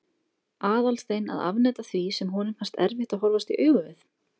Aðalstein að afneita því sem honum fannst erfitt að horfast í augu við?